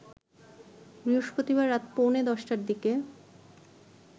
বৃহস্পতিবার রাত পৌনে ১০টার দিকে